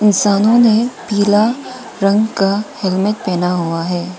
इंसानों ने पीला रंग का हेलमेट पहना हुआ है।